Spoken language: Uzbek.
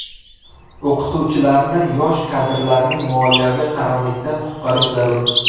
O‘qituvchilarni, yosh kadrlarni moliyaviy qaramlikdan qutqarish zarur.